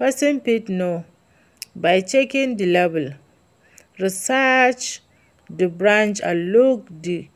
Pesin fit know by checking di label, research di brand and look for di